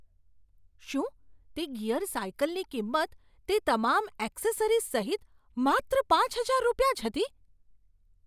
શું તે ગિયર સાયકલની કિંમત તે તમામ એક્સેસરીઝ સહિત માત્ર પાંચ હજાર રૂપિયા જ હતી?